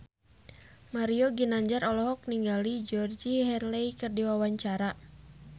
Mario Ginanjar olohok ningali Georgie Henley keur diwawancara